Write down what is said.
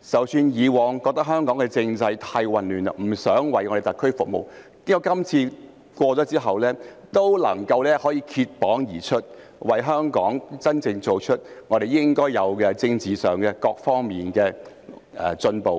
即使以往認為香港的政制太過混亂，不想為特區服務，但經過今次之後，也能夠脫縛而出，為香港真正做事，令我們在政治上和各方面都有所進步。